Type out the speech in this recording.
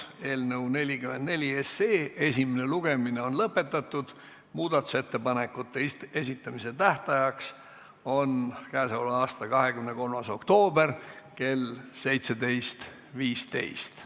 Eelnõu 44 esimene lugemine on lõpetatud, muudatusettepanekute esitamise tähtajaks on k.a 23. oktoober kell 17.15.